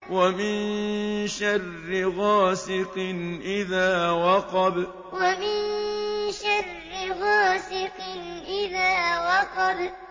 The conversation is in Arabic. وَمِن شَرِّ غَاسِقٍ إِذَا وَقَبَ وَمِن شَرِّ غَاسِقٍ إِذَا وَقَبَ